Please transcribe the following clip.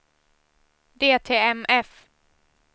DTMF